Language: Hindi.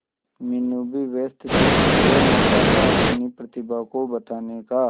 मीनू भी व्यस्त थी यह मौका था अपनी प्रतिभा को बताने का